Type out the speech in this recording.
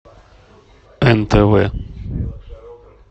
нтв